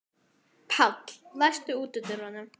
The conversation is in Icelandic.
Páll, læstu útidyrunum.